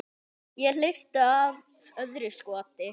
Ég hleypti af öðru skoti.